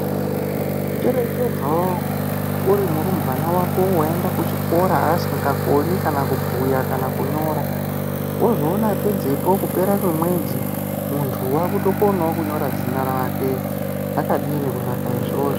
Cherecherzo uri murumbwana wako waende kuchikora asingakoni kana kubhuya kana kunyora wozoona pedzepo kupera kwemwedsi muntu wakutokonawo kunyora zita rake zvakadini kunaka izvozvo.